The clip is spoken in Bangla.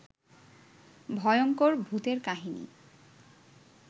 ভয়ংকর ভুতের কাহিনী